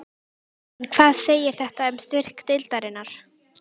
En hvað segir þetta um styrk deildarinnar?